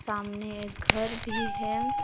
सामने एक घर भी है।